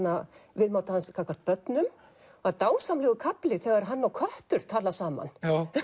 viðmóti hans gagnvart börnum það er dásamlegur kafli þegar hann og köttur tala saman